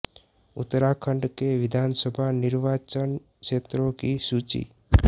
उत्तराखण्ड के विधान सभा निर्वाचन क्षेत्रों की सूची